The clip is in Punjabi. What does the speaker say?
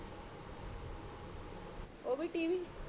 ਓ ਵੀ ਟੀਵੀ